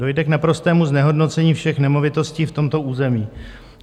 Dojde k naprostému znehodnocení všech nemovitostí v tomto území.